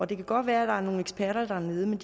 det kan godt være at der er nogle eksperter dernede men